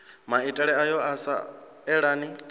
maitele ayo a sa elani